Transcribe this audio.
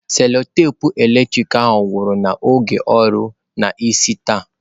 Selotape eletrik agwụla n'oge ọrụ n'isi taa.